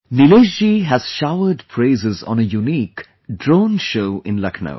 Nilesh ji has showered praises on a unique Drone Show in Lucknow